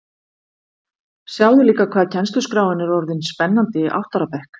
Sjáðu líka hvað kennsluskráin er orðin spennandi í átta ára bekk